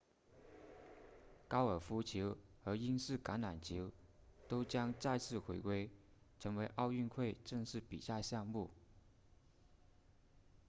高尔夫球和英式橄榄球都将再次回归成为奥运会正式比赛项目